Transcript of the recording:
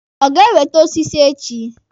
Ọ ga-ewete osisi echi?